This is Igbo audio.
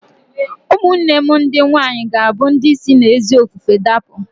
Ụmụnne m ndị nwaanyị ga-abụ ndị si n'ezi ofufe dapụ